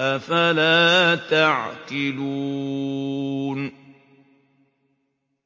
أَفَلَا تَعْقِلُونَ